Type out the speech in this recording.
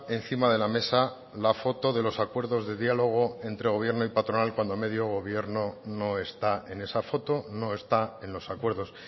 encima de la mesa la foto de los acuerdos de diálogo entre gobierno y patronal cuando medio gobierno no está en esa foto no está en los acuerdos